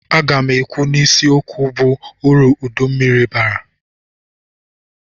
Aga m ekwu n'isi okwu bụ uru uduru mmiri bara.